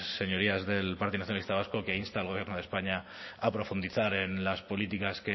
señorías del partido nacionalista vasco que inste al gobierno de españa a profundizar en las políticas